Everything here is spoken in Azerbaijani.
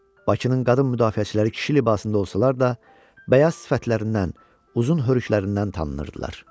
Bakının qadın müdafiəçiləri kişi libasında olsalar da, bəyaz sifətlərindən, uzun hörlüklərindən tanınırdılar.